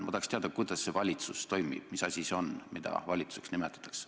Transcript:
Ma tahaks teada, kuidas see valitsus toimib, mis asi see on, mida valitsuseks nimetatakse.